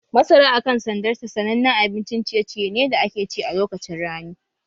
Masara a kan sandarta sanannen abincin ciye-ciye ne da ake ci a lokacin rani